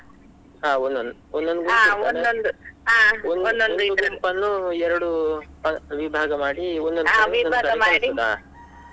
ಹಾ ಒಂದೊಂದು ಒಂದೊಂದು ಗುಂಪು ಇರ್ತದೆ, ಒಂದೊಂದು ಗುಂಪನ್ನು ಎರಡು ವಿಭಾಗ ಮಾಡಿ, .